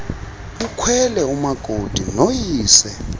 ukhwele umakoti noyise